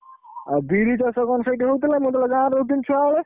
ଆଉ ବିରି ଚାଷ କଣ ସେଇଠି ହଉଛି ନା ମୁଁ ଯେତବେଳେ ଗାଁରେ ରହୁଥିଲି ଛୁଆବେଳେ?